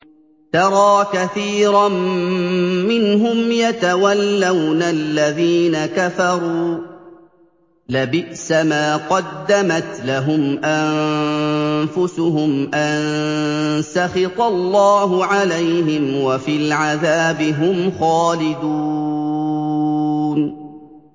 تَرَىٰ كَثِيرًا مِّنْهُمْ يَتَوَلَّوْنَ الَّذِينَ كَفَرُوا ۚ لَبِئْسَ مَا قَدَّمَتْ لَهُمْ أَنفُسُهُمْ أَن سَخِطَ اللَّهُ عَلَيْهِمْ وَفِي الْعَذَابِ هُمْ خَالِدُونَ